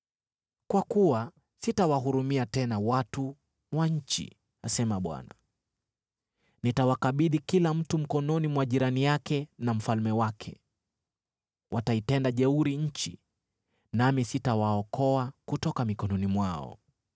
Kwa kuwa sitawahurumia tena watu wa nchi,” asema Bwana . “Nitawakabidhi kila mtu mkononi mwa jirani yake na mfalme wake. Wataitenda jeuri nchi, nami sitawaokoa kutoka mikononi mwao.”